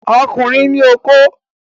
Ọkùnrin ní okó